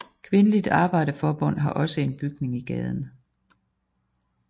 Kvindeligt Arbejderforbund har også en bygning i gaden